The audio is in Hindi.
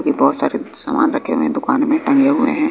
कि बहुत सारी सामान रखे हुए हैं दुकान में टंगे हुए हैं।